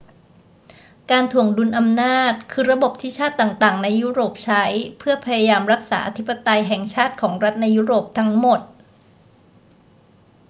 การถ่วงดุลอำนาจคือระบบที่ชาติต่าง ๆ ในยุโรปใช้เพื่อพยายามรักษาอธิปไตยแห่งชาติของรัฐในยุโรปทั้งหมด